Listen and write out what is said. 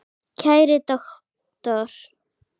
Kæri doktor